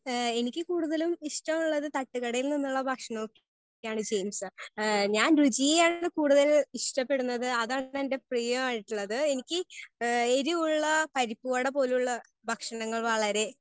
Speaker 1 എനിക്ക് കൂടുതലും ഇഷ്ടമുള്ളത് തട്ടുകടയിൽ നിന്നും ഉള്ള ഭക്ഷണം ഒക്കെയാണ് ജെയിംസ് ഹേ ഞാൻ രുചിയെ ആണ് കൂടുതൽ ഇഷ്ടപ്പെടുന്നത് അതാണ് എന്റെ പ്രിയം ആയിട്ടുള്ളത്. എനിക്ക് എരിവുള്ള പരിപ്പ് വാട പോലുള്ള ഭക്ഷണങ്ങൾ വളരെ